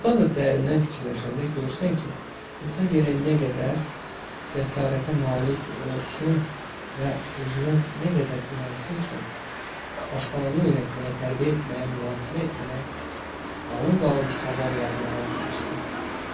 Doğrudan da dərindən fikirləşəndə görürsən ki, insan gərək nə qədər cəsarətə malik olsun və özünə nə qədər inansın ki, başqalarına öyrətməyə, tərbiyə etməyə, mühakimə etməyə, qalın-qalın kitablar yazmağa girişsin.